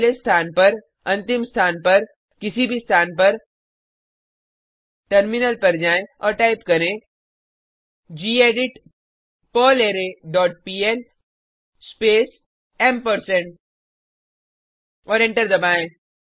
पहले स्थान पर अंतिम स्थान पर किसी भी स्थान पर टर्मिनल पर जाएँ और टाइप करें gedit perlre dot pl space ampersand और एंटर दबाएँ